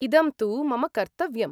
इदं तु मम कर्तव्यम्।